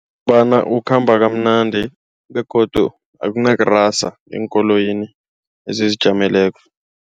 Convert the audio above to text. Bona ukhamba kamnandi begodu akunakurasa eenkoloyini ezizijameleko.